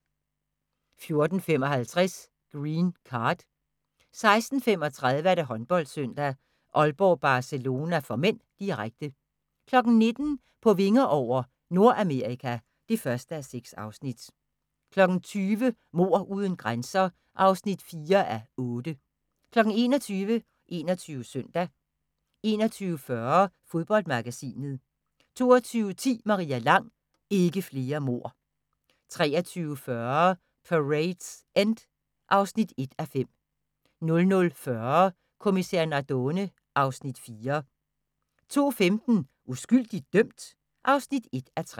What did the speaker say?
14:55: Green Card 16:35: HåndboldSøndag: Aalborg-Barcelona (m), direkte 19:00: På vinger over – Nordamerika (1:6) 20:00: Mord uden grænser (4:8) 21:00: 21 Søndag 21:40: Fodboldmagasinet 22:10: Maria Lang: Ikke flere mord 23:40: Parade's End (1:5) 00:40: Kommissær Nardone (Afs. 4) 02:15: Uskyldigt dømt? (1:3)